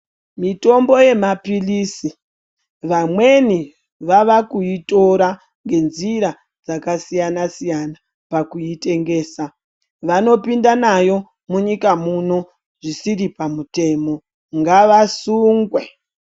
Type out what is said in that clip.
Mitombo yemapilizi vamweni vavakuyitora nenjira dzakasiyana siyana pakuitengesa, vanopinda nayo munyika muno zvisiri pamutemo ngavasungwe.